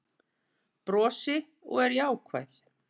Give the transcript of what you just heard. Brosi og er jákvæð